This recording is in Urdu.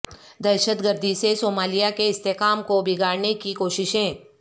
دہشت گردی سے صومالیہ کے استحکام کو بگاڑنے کی کوششیں